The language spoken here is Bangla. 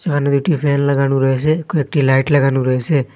এখানে দুটি ফ্যান লাগানো রয়েসে কয়েকটি লাইট লাগানো রয়েসে।